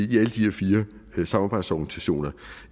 de her fire samarbejdsorganisationer